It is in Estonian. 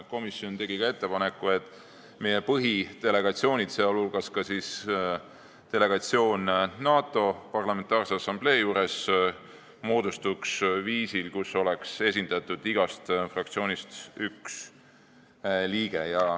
Komisjon tegi ka ettepaneku, et meie põhidelegatsioonid, sh delegatsioon NATO Parlamentaarse Assamblee juures, moodustuksid viisil, et igast fraktsioonist oleks seal üks liige.